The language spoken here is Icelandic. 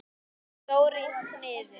Stór í sniðum.